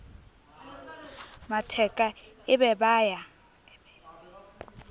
matheka e be ba ya